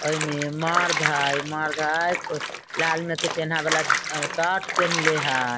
एमे मर्द हेय उ मर्द हेय लाल में के चेन्हा वाला शर्ट पहिन्ले हेय।